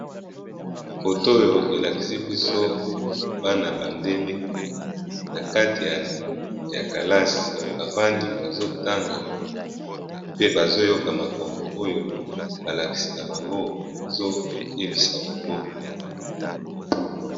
foto oyo elakisi biso bana bandele na kati ya kalasi bavandi bazotanga pe bazoyoka makambo oyo balakisi na bango bazoyebisa bango